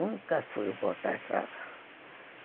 Nunca fui contratada.